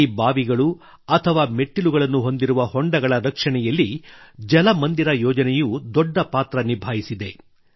ಈ ಬಾವಿಗಳು ಅಥವಾ ಮೆಟ್ಟಿಲುಗಳನ್ನು ಹೊಂದಿರುವ ಕೊಳಗಳ ರಕ್ಷಣೆಯಲ್ಲಿ ಜಲ ಮಂದಿರ ಯೋಜನೆಯು ದೊಡ್ಡ ಪಾತ್ರ ನಿಭಾಯಿಸಿದೆ